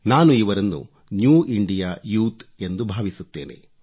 ನಾನು ಇವರನ್ನು new India ಯೂತ್ಎಂದು ಭಾವಿಸುತ್ತೇನೆ